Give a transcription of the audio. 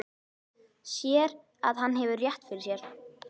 Sér að hann hefur rétt fyrir sér.